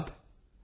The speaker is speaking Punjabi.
ਨਮਸਕਾਰ